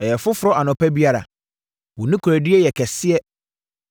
Ɛyɛ foforɔ anɔpa biara; wo nokorɛdie yɛ kɛseɛ.